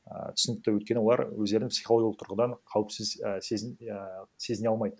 ааа түсінікті өйткені олар өздерін психологиялық тұрғыдан қауіпсіз і а сезіне алмайды